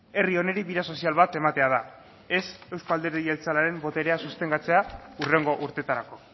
herri honi bide sozial bat ematea da ez euzko alderdi jeltzalearen boterea sostengatzea hurrengo urtetarako